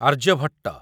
Aryabhata